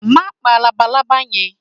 Ma pa lábàlábà yen!